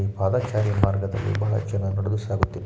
ಪಾದಾಚಾರಿ ಮಾರ್ಗದಲ್ಲಿ ಬಹಳಷ್ಟು ಜನ ನಡೆದು ಸಾಗುತ್ತಿದ್ದಾರೆ .